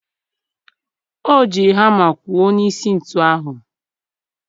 O jiri hama kwụọ n'isi ntu ahụ.